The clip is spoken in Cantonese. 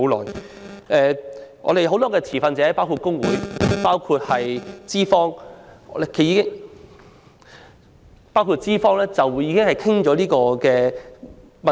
當中很多持份者——包括工會和資方——均已多次討論《條例草案》所牽涉的問題。